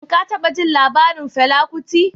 Shin ka taba jin labarin Fela Kuti?